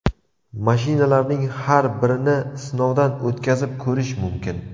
Mashinalarning har birini sinovdan o‘tkazib ko‘rish mumkin.